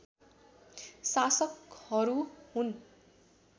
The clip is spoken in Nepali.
शासकहरू हुन्